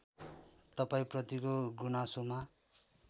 तपाईँ प्रतिको गुनासोमा